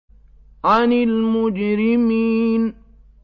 عَنِ الْمُجْرِمِينَ